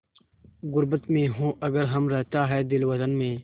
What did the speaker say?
ग़ुर्बत में हों अगर हम रहता है दिल वतन में